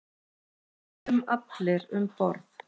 Við gistum allir um borð.